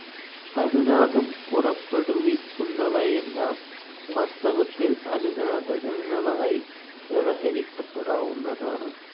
അനുനാദം പുറപ്പെടുവിക്കുന്നവയെല്ലാം വാസ്തവത്തിൽ അനുനാദകങ്ങളായി വ്യവഹരിക്കപ്പെടാവുന്നതാണ്.